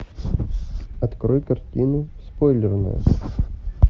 открой картину спойлерная